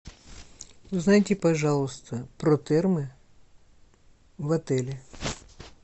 узнайте пожалуйста про термы в отеле